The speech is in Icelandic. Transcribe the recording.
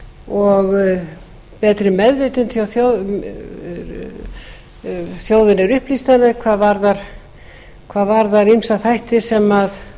og betri meðvitund hjá þjóðinni þjóðin er upplýstari hvað varðar ýmsa þætti sem